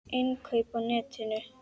Innkaup á netinu?